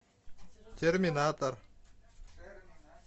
терминатор